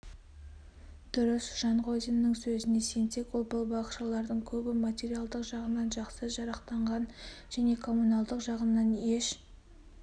дұрыс жанғозиннің сөзіне сенсек ол балабақшалардың көбі материалдық жағынан жақсы жарақтанған және коммуналдық жағынан еш